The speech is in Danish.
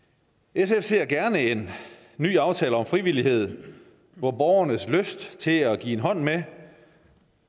sfs ser gerne en ny aftale om frivillighed hvor borgernes lyst til at give en hånd med